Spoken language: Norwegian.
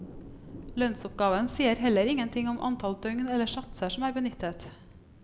Lønnsoppgaven sier heller ingen ting om antall døgn eller satser som er benyttet.